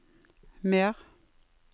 mer